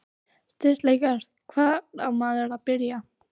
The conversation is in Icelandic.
Styrkleikar: Hvar á maður að byrja?